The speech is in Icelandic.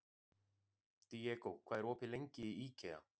Diego, hvað er opið lengi í IKEA?